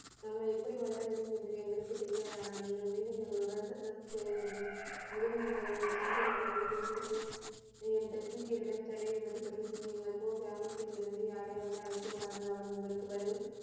நாம எப்படி வளர வேண்டும் என்று எங்களுக்கு தெரியாதா? ஆனால் நீங்கள் மீண்டும் எங்களுடன் செசல் செய்ய வேண்டும். முதலில் நீங்கள் யங்கள் சொந்த விருப்பம்படி தேர்ந்தெடுக்கும் இந்த சீக்கியரிடம் சண்டையிடுவது பற்றி சிந்தியுங்கள். போகலாம். கிராமதில் இருந்து யாரையாவது அழைத்து வாருங்கள். அவர் உங்களுக்கு பதில்,